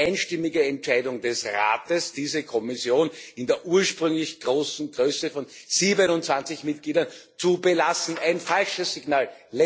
Eine einstimmige Entscheidung des Rates, diese Kommission in der ursprünglich großen Größe von 27 Mitgliedern zu belassen. Ein falsches Signal.